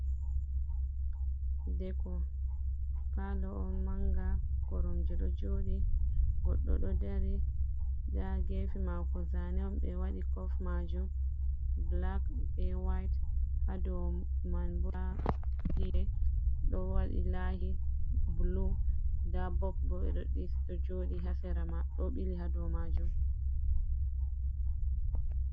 Deko palo on manga korom je do jodi goddo do dari da gefi mako zaneon be wadi kof majum black be white hado man ba be do wadi lahi blu da bob bo bedo diso do jodi hasera ma do bili hado majum.